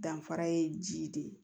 Danfara ye ji de ye